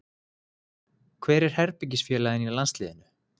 Hver er herbergisfélaginn í landsliðinu?